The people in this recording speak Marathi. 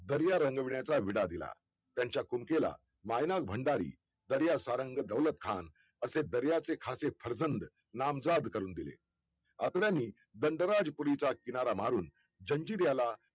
दर्या रंगविण्याचा विडा दिला त्यांच्या कुमकेला मायनाक भंडारी, दर्यासारंग दौलतखान हे दर्याचे खासे फर्जंद नामजाद करून दिले अत्र्यांनी दंडाराजपुरीचा किनारा मारून जंजिऱ्याला